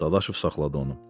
Dadaşov saxladı onu.